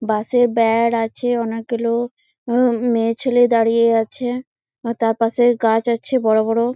বাঁশের বেড় আছে অনেকগুলো মেয়েছেলে দাঁড়িয়ে আছে তার পাশে গাছ আছে বড়ো বড়ো।